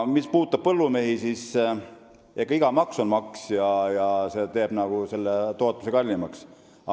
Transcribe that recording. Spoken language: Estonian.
Mis puudutab põllumehi, siis iga maks on maks, mis teeb tootmise kallimaks.